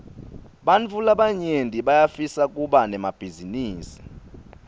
bantfu labanyenti bayafisa kuba nemabhizinisi